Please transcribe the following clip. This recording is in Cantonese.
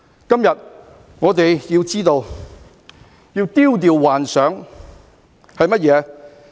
今天我們要知道，要丟掉幻想。